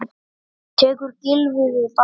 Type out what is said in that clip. Tekur Gylfi við bandinu?